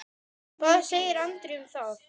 Hvað segir Andri um það?